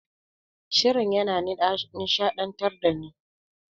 Shirin yana nishaɗantar dani.